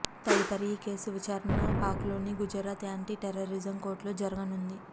తదుపరి ఈ కేసు విచారణ పాక్లోని గుజరాత్ యాంటీ టెర్రరిజం కోర్టులో జరగనుంది